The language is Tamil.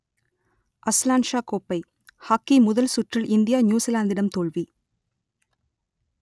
அஸ்லான்ஷா கோப்பை ஹாக்கி முதல் சுற்றில் இந்தியா நியூசிலாந்திடம் தோல்வி